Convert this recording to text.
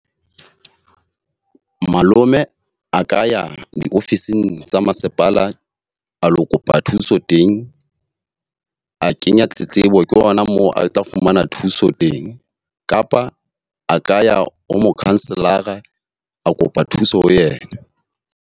Malome a ka ya diofising tsa masepala a lo kopa thuso teng. A kenya tletlebo, ke hona moo a tla fumana thuso teng. Kapa a ka ya ho mokhanselara a kopa thuso ho yena.